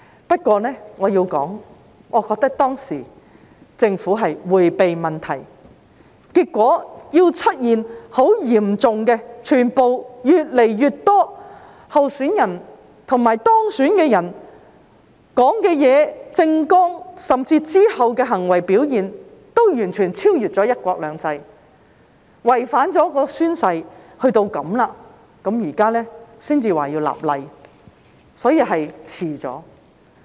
不過，我要說的是，我覺得當時政府是在迴避問題，結果出現很嚴重的問題，越來越多候選人及當選人的說話、政綱，甚至其後的行為表現，均完全超越了"一國兩制"，達至違反誓言的地步，現在政府才說要立法，所以已遲了。